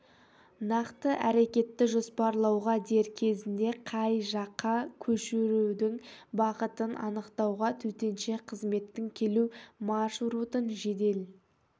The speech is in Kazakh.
нақты әрекетті жоспарлауға дер кезінде қай жаққа көшірудің бағытын анықтауға төтенше қызметтің келу маршрутын жедел